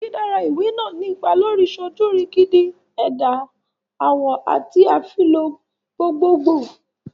Didara iwe naa ni ipa lori sojurigindin, ẹda awọ, ati afilọ gbogbogbo